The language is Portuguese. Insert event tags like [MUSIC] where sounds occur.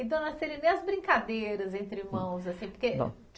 Então, [UNINTELLIGIBLE] nem as brincadeiras entre irmãos, assim, porque. Bom